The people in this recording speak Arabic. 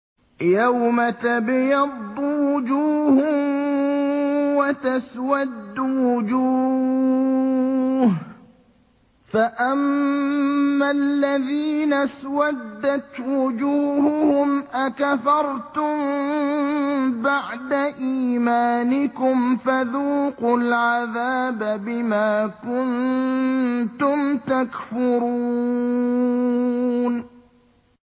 يَوْمَ تَبْيَضُّ وُجُوهٌ وَتَسْوَدُّ وُجُوهٌ ۚ فَأَمَّا الَّذِينَ اسْوَدَّتْ وُجُوهُهُمْ أَكَفَرْتُم بَعْدَ إِيمَانِكُمْ فَذُوقُوا الْعَذَابَ بِمَا كُنتُمْ تَكْفُرُونَ